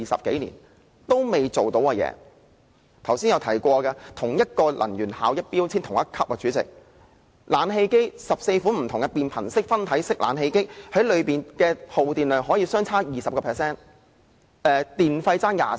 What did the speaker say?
正如剛才有議員提及，同一級能源標籤的14款變頻分體式冷氣機，耗電量可相差 20%， 電費更相差 24%。